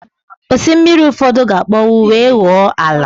Osimiri ụfọdụ ga-akpọnwụ wee ghọọ ala